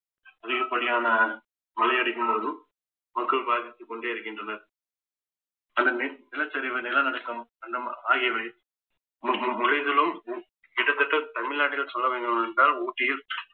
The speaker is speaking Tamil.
அதிகப்படியான மழை அடிக்கும்போது மக்கள் பாதித்துக் கொண்டே இருக்கின்றனர் அதுமே நிலச்சரிவு நிலநடுக்கம் ஆகியவை ஹம் ஹம் உறைதலும் கிட்டத்தட்ட தமிழ்நாட்டில் சொல்ல வேண்டுமென்றால் ஊட்டியில்